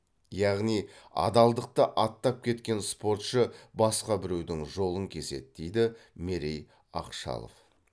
яғни адалдықты аттап кеткен спортшы басқа біреудің жолын кеседі дейді мерей ақшалов